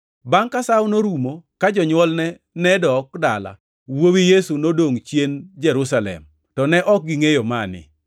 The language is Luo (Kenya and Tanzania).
Bangʼ ka sawono norumo, ka jonywolne nedok dala, wuowi Yesu nodongʼ chien Jerusalem, to ne ok gingʼeyo mani.